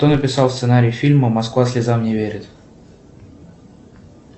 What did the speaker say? кто написал сценарий фильма москва слезам не верит